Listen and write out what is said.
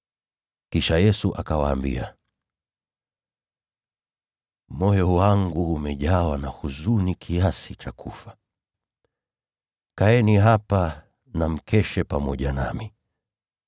Kisha Yesu akawaambia, “Moyo wangu umejawa na huzuni kiasi cha kufa. Kaeni hapa na mkeshe pamoja nami.”